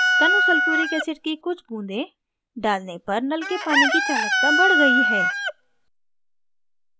तनु sulphuric acid की कुछ बूँदें डालने पर नल के पानी की चालकता बड़ गई है